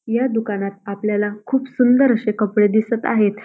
या दुकानात आपल्याला खूप सुंदर अशे कपडे दिसत आहेत.